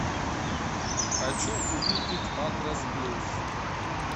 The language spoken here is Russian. хочу увидеть макрос плюс